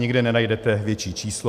Nikde nenajdete větší číslo.